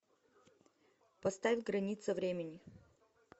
поставь границы времени